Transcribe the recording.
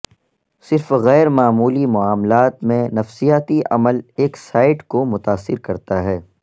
صرف غیر معمولی معاملات میں نفسیاتی عمل ایک سائٹ کو متاثر کرتا ہے